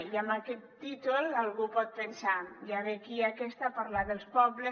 i amb aquest títol algú pot pensar ja ve aquí aquesta a parlar dels pobles